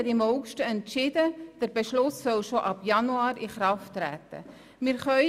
Die Regierung hat im August entschieden, dass der Beschluss bereits im Januar in Kraft treten soll.